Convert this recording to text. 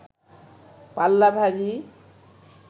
পাল্লা ভারী